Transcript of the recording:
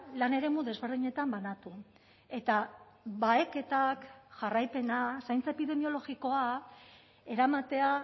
lan eremu desberdinetan banatu eta baheketak jarraipena zaintza epidemiologikoa eramatea